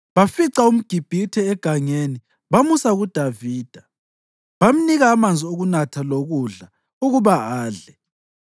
Bafica umGibhithe egangeni bamusa kuDavida. Bamnika amanzi okunatha lokudla ukuba adle,